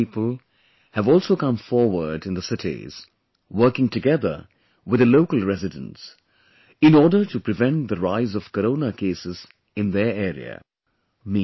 Many young people have also come forward in the cities, working together with the local residents, in order to prevent the rise of Corona cases in their area